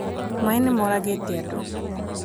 maĩ nĩmoragĩte andũ